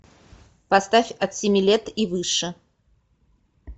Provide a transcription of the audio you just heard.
поставь от семи лет и выше